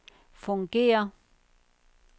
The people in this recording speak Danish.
fungerer